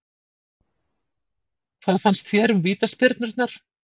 Hvað fannst þér um vítaspyrnurnar?